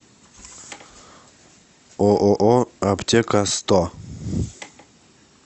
ооо аптека сто